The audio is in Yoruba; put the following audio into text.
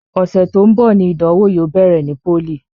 Ọṣẹ tó ń bọ̀ ni ìdánwò yóò bẹ̀rẹ̀ ní pólì